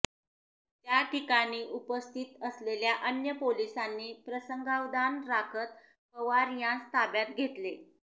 त्याठिकाणी उपस्थित असलेल्या अन्य पोलिसांनी प्रसंगावधान राखत पवार यास ताब्यात घेतले